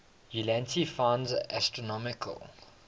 ulansey finds astronomical